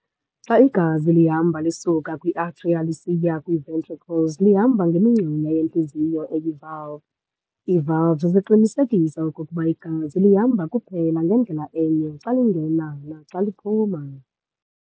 Xa igazi lihamba lisuka kwi-atria lisiya kwii-ventricles lihamba ngemingxunyana yentliziyo eyi-valve. Ii-valves ziqinisekisa okokuba igazi lihamba kuphela ngendlela enye xa lingena naxa liphuma.